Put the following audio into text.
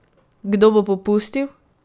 Kdo bo popustil?